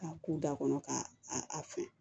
A k'u da kɔnɔ ka a fɛn